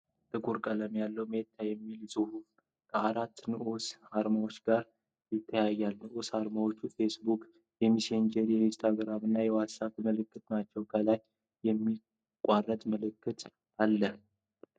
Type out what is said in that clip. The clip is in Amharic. ጥቁር ቀለም ያለው "Meta" የሚል ጽሑፍ ከአራት ንዑስ አርማዎች ጋር ይታያል። ንዑስ አርማዎቹ የፌስቡክ፣ የመሴንጀር፣ የኢንስታግራም እና የዋትስአፕ ምልክቶች ናቸው፤ ከላይ የማያቋርጥ ምልክት (infinity symbol) አለ።